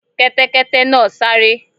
Kẹ́tẹ́kẹ́tẹ́ náà sáré.